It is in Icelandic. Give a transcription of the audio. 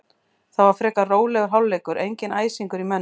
Það var frekar rólegur hálfleikur, enginn æsingur í mönnum.